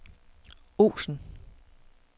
Osen